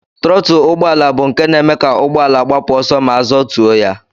Trọtụl ụgbọala bụ nke na-eme ka ụgbọala gbapụ ọsọ ma a zọtuo ya